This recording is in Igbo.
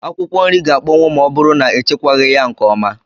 Akwụkwọ nri gá akpọnwu ma ọ bụrụ na echekwaghi ya nke ọma